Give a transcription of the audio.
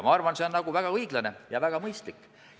Ma arvan, et see on väga õiglane ja väga mõistlik.